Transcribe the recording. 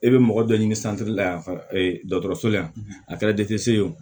E bɛ mɔgɔ dɔ ɲini la yan dɔgɔtɔrɔso la yan a kɛra ye o